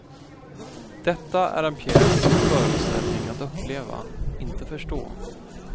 Detta är en pjäs och föreställning att uppleva, inte förstå.